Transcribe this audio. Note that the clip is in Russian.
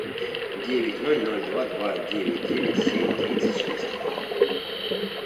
девять ноль ноль два два девять девять семь тридцать шесть